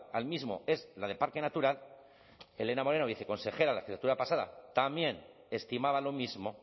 al mismo es la de parque natural elena moreno viceconsejera la legislatura pasada también estimaba lo mismo